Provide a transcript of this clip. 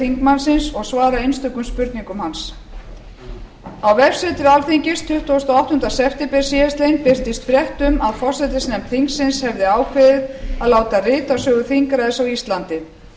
þingmannsins og svara einstökum spurningum hans á vefsetri alþingis tuttugasta og áttunda september síðastliðinn birtist frétt um að forsætisnefnd þingsins hefði ákveðið að láta rita sögu þingræðis á íslandi